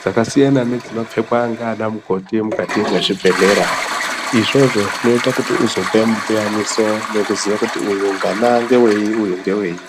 dzakasiyana nedzino pfekwa nana mukoti mukati mezvibhedhlera izvozvo zvinoita uzapa mupiyaniso uchizoziya kuti uyu ngana ngewei uyu ngewei.